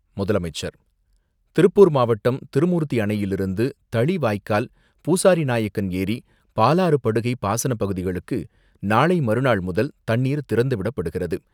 முதலமைச்சர் திருப்பூர் மாவட்டம் திருமூர்த்தி அணையிலிருந்து தளி வாய்க்கால், பூசாரி நாயக்கன் ஏரி, பாலாறு படுகை பாசன பகுதிகளுக்கு நாளை மறுநாள்முதல் தண்ணீர் திறந்துவிடப்படுகிறது.